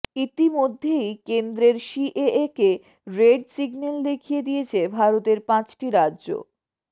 ইতিমধ্যেই কেন্দ্রের সিএএ কে রেড সিগন্যাল দেখিয়ে দিয়েছে ভারতের পাঁচটি রাজ্য